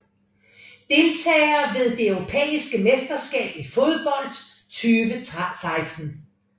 Deltagere ved det europæiske mesterskab i fodbold 2016